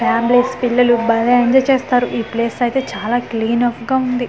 Families పిల్లలు భలే enjoy చేస్తారు ఈ ప్లేస్ అయితే చాలా క్లీన్ ఆఫ్ గా ఉంది.